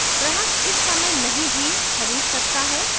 ग्राहक इस समय नहीं भी खरीद सकता है